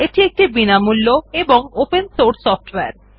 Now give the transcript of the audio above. এটি একটি বিনামূল্য ও ওপেন সোর্স সফ্টওয়্যার